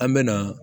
An me na